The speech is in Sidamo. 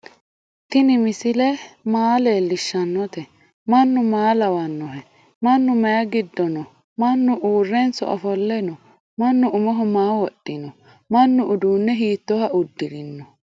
tinni misele maa lelishanote? manu maa lawanoho? manu mayi gido no manu urenso offole no ?manu umoho maa wodhino? manu udune hittoha uudirino